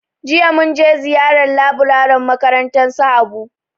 jiya mun je ziyara laburaren makarantar su habu.